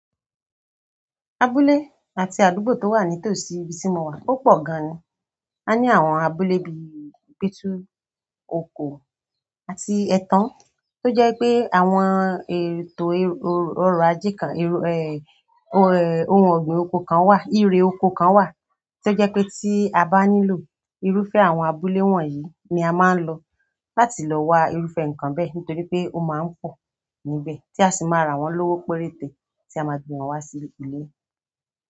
Abúlé àti àdúgbò to wa ni tosí ibí ti mo wà o pọ gan ni a ní àwọn abúlé bí i Gbétu Oko àti Ẹ̀tàn, tó jẹ́ pé àwọn ètò ọrọ̀ ajé kan ẹ, ohun ọ̀gbìn oko kan wà, ìre oko kan wà, tí ó jẹ́ pé tí a bá nílò irúfẹ́ àwọn abúlé wọ̀nyí ni a máa ń lọ láti lọ wa irúfẹ́ nǹkan bẹ́ẹ̀ nítorí pé ó máa ń pọ níbẹ̀ tí a sì máa ra wọ́n lówó péréte tí a máa gbé wọn wá sí ilé.